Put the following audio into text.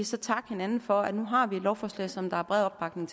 så takke hinanden for at vi nu har et lovforslag som der er bred opbakning